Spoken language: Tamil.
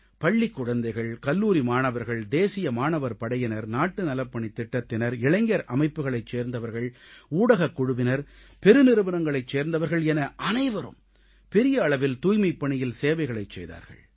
பள்ளிக் குழந்தைகள் கல்லூரி மாணவர்கள் தேசிய மாணவர் படையினர் நாட்டு நலப்பணித் திட்டத்தினர் இளைஞர் அமைப்புகளைச் சேர்ந்தவர்கள் ஊடகக் குழுவினர் பெருநிறுவனங்களைச் சேர்ந்தவர்கள் என அனைவரும் பெரிய அளவில் தூய்மைப்பணியில் சேவைகளைச் செய்தார்கள்